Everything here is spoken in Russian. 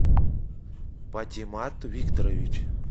патимат викторович